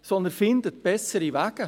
Finden Sie bessere Wege!